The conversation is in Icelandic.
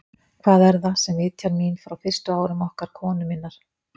Hvað er það, sem vitjar mín frá fyrstu árum okkar konu minnar?